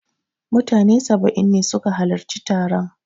Mutane saba'in ne su ka halarci taron